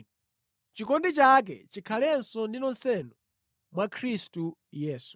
Chikondi changa chikhale ndi nonsenu mwa Khristu Yesu.